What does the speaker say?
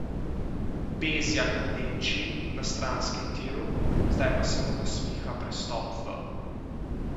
Bezjak v Nemčiji na stranskem tiru, zdaj pa se mu nasmiha prestop v ...